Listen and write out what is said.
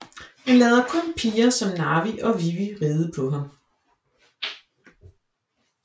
Han lader kun piger som Nami og Vivi ride på ham